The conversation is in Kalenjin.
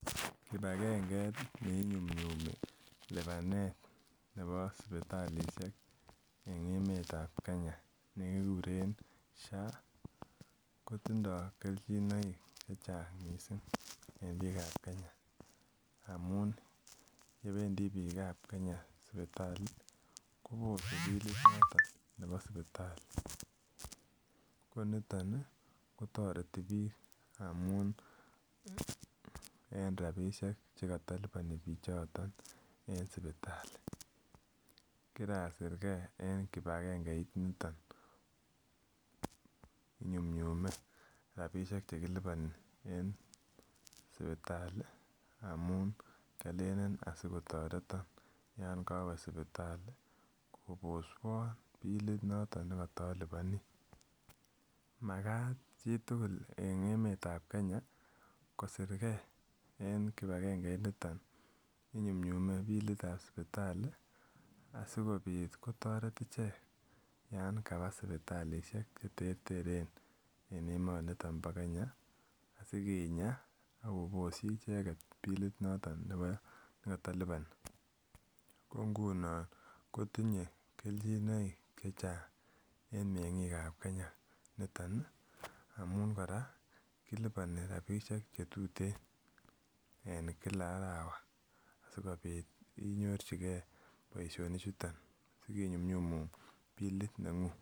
Kipagenge neinyumnyumi lipanet nebo sipitalishek en emetab Kenya nekikure SHA kotindo keljinoik chechang missing en bikab Kenya amun pendii bikab Kenya sipitali kobose bilit noton nebo sipitali ko niton nii kotoreti bik amun en rabishek chekotoliboni bichoton en sipitali. Korasirgee en kipagengeit niton, inyumyume rabishek chekiliponin en sipitali amun kiolelen asikotoreton yon kowe sipitali koboswon bilit noton nekotoliponi. Makat chitukul en emetab Kenya kisirgee en kipagengeit niton inyumyume bilitab sipitali asikopit kotoret ichek yon kaba sipitalishek cheterteren en emoniton bo Kenya sikinya ak koboshi icheket bilit noton nekotoliponi. Ko ngunon kotinye keljinoik chechang en mengikab Kenya niton nii amun Koraa koliponi rabishek chetuten en kila arawa sikopit inyorchigee boishonik chuton sikopit konyumyumun bilit nenguny.